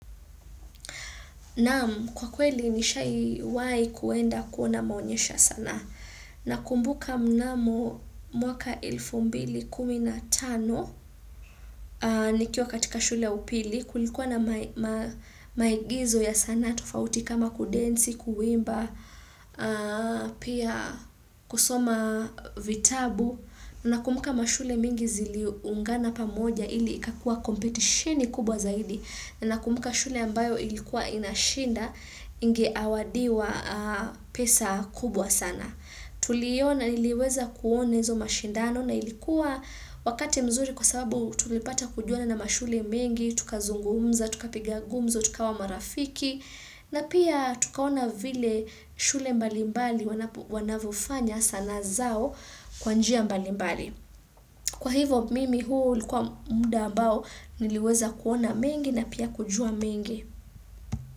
Naam, kwa kweli nishawahi kuenda kuona maonyesho ya sanaa. Nakumbuka mnamo mwaka elfu mbili kumi na tano, nikiwa katika shule upili, kulikuwa na maigizo ya sanaa tufauti kama kudensi, kuiimba, pia kusoma vitabu. Nakumbuka mashule mingi ziliungana pa moja ili ikakua kompetitioni kubwa zaidi. Na ninakumuka shule ambayo ilikuwa inashinda ingezawadiwa pesa nying sana. Tuliweza kuona hizo mashindano na ilikuwa wakati mzuri kwa sababu tulipata kujuna na mashule mingi, tukazungumza, tukapiga gumzo, tukawa marafiki na pia tukaona vile shule mbalimbali wanavyofanya sanaa zao kwa njia mbalimbali. Kwa hivyo mimi huu ulikuwa muda ambao niliweza kuona mengi na pia kujua mengi.